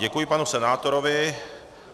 Děkuji panu senátorovi.